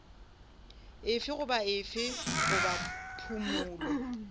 efe goba efe goba phumolo